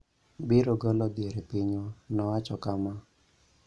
biro golo dhier e pinywa," nowacho kama.